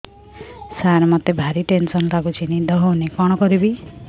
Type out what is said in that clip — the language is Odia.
ସାର ମତେ ଭାରି ଟେନ୍ସନ୍ ଲାଗୁଚି ନିଦ ହଉନି କଣ କରିବି